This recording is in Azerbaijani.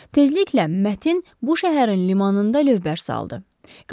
Tezliklə Mətin bu şəhərin limanında lövbər saldı.